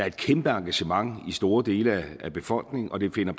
et kæmpe engagement i store dele af befolkningen og det finder